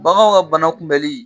Bagan ka bana kunbɛnli